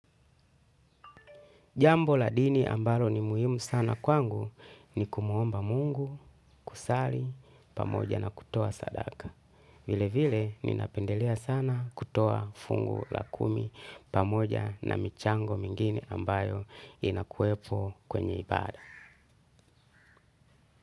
Jambo la dini ambalo ni muhimu sana kwangu ni kumwomba Mungu, kusali, pamoja na kutoa sadaka. Vile vile ninapendelea sana kutoa fungu la kumi pamoja na michango mingine ambayo inakuwepo kwenye ibada.